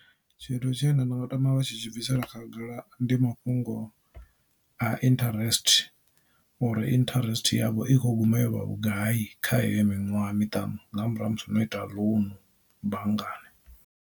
Tshithu tshine nda nga tama vha tshi tshi bvisela khagala ndi mafhungo a interest, uri interest yavho i kho guma yovha vhugai kha heyo miṅwaha miṱanu nga murahu ha musi no ita ḽounu banngani.